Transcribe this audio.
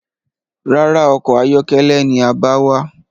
Rárá, ọkọ̀ ayọ́kẹ́lẹ́ ni a bá wá.